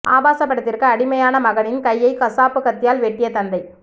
ஆபாச படத்திற்கு அடிமையான மகனின் கையை கசாப்பு கத்தியால் வெட்டிய தந்தை